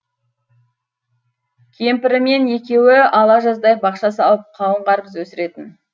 кемпірімен екеуі ала жаздай бақша салып қауын қарбыз өсіретін